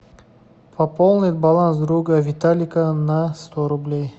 пополнить баланс друга виталика на сто рублей